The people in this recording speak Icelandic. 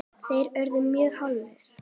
þeir urðu mjög hálir.